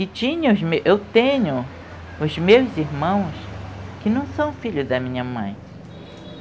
E eu tenho os meus irmãos que não são filhos da minha mãe.